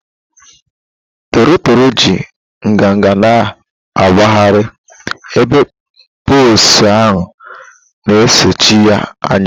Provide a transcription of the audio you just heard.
toro toro ji nganga na-agbagharị, ebe poults ha na-esochi ya anya